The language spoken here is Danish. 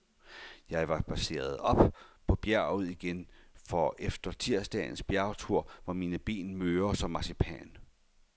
Jeg var spadseret op på bjerget igen, for efter tirsdagens bjergtur var mine ben møre som marcipan.